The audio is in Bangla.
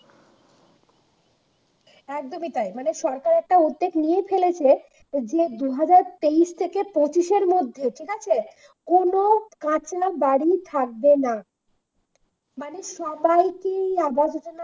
একদমই তাই মানে সরকার একটা উদ্যোগ নিয়ে ফেলেছে যে দু হাজার তেইশ থেকে পঁইত্রিশ এর মধ্যে ঠিক আছে কোন কাঁচা বাড়ি থাকবে না, সবাইকে আবাস যোজনার